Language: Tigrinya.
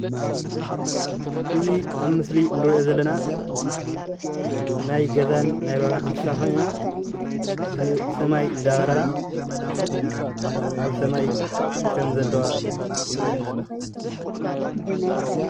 እዚ ኣብ ምስሊ እንሪኦ ዘለና ናይ ገዛን ናይ በረካን እንስሳ ኮይነን ብሰማይ እንዳበረራ ኣብ ሰማይ ከም ዘለዋ ይረአየና ኣለዋ፡፡